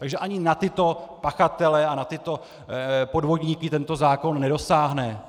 Takže ani na tyto pachatele a na tyto podvodníky tento zákon nedosáhne.